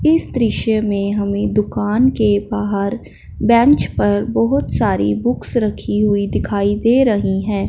इस दृश्य में हमें दुकान के बाहर बेंच पर बहुत सारी बुक्स रखी हुई दिखाई दे रही हैं।